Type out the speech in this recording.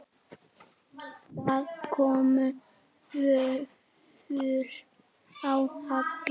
Það komu vöflur á Halla.